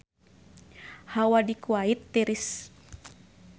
Hawa di Kuwait tiris